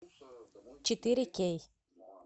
четыре кей